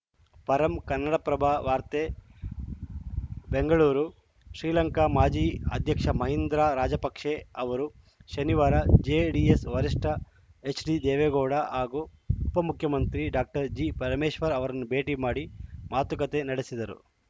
ಪರಂ ಕನ್ನಡಪ್ರಭ ವಾರ್ತೆ ಬೆಂಗಳೂರು ಶ್ರೀಲಂಕ ಮಾಜಿ ಅಧ್ಯಕ್ಷ ಮಹಿಂದ್ರಾ ರಾಜಪಕ್ಸೆ ಅವರು ಶನಿವಾರ ಜೆಡಿಎಸ್‌ ವರಿಷ್ಠ ಎಚ್‌ಡಿದೇವೇಗೌಡ ಹಾಗೂ ಉಪ ಮುಖ್ಯಮಂತ್ರಿ ಡಾಜಿಪರಮೇಶ್ವರ್‌ ಅವರನ್ನು ಭೇಟಿ ಮಾಡಿ ಮಾತುಕತೆ ನಡೆಸಿದರು